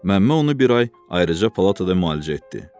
Məmmə onu bir ay ayrıca palatada müalicə etdi.